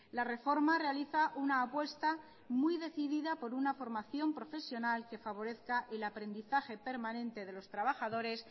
la reforma realiza una apuesta muy decidida por una formación profesional que favorezca el aprendizaje permanente de los trabajadores